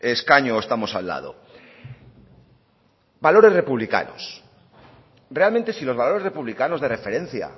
escaño o estamos al lado valores republicanos realmente si los valores republicanos de referencia